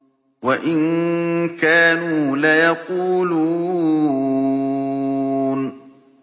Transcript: وَإِن كَانُوا لَيَقُولُونَ